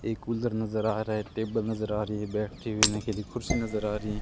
एक कूलर नज़र आ रहा है टेबल नज़र आ रही है बैठने के लिए कुर्सी नज़र आ रही है।